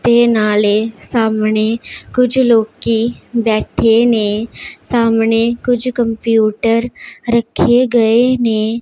ए नाले सामने कुछ लोग के बैठे ने सामने कुछ कंप्यूटर रखे गए ने--